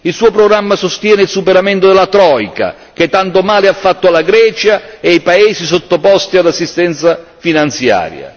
Il Suo programma sostiene il superamento della troika che tanto male ha fatto alla Grecia e ai paesi sottoposti all'assistenza finanziaria.